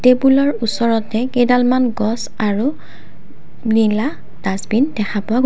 টেবুলৰ ওচৰতে কেইডালমান গছ আৰু নীলা ডাষ্টবিন দেখা পোৱা গৈছে।